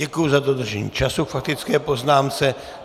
Děkuji za dodržení času k faktické poznámce.